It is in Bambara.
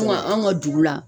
Ko nka anw ka dugu la